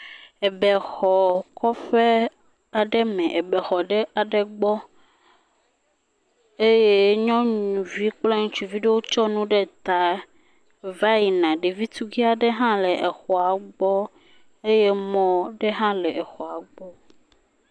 Abe xɔ kɔƒe aɖe me. Abe xɔ ɖe aɖe gbɔ eye nyɔnuvi kple ŋutsu aɖe kɔ nu ɖe ta va yina. Ɖevi tukui aɖe va yina ɖe exɔwo gbɔ eye mɔ aɖe hã le xɔa gbɔ.